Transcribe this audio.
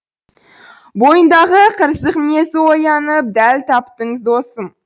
бойындағы қырсық мінезі оянып дәл таптың досым